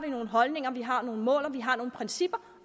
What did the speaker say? nogle holdninger vi har nogle mål og vi har nogle principper